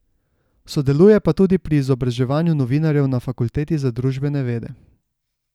Sodeluje pa tudi pri izobraževanju novinarjev na Fakulteti za družbene vede.